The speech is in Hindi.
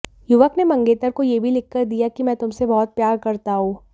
युवक ने मंगेतर को यह भी लिखकर दिया कि मैं तुमसे बहुत प्यार करता हूं